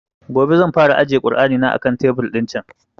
Gobe zan fara ajiye kur'ani na a kan tebur ɗin can